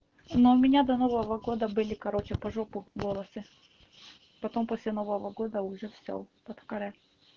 но у меня до нового года были короче по жопу волосы и потом после нового года уже всё под каре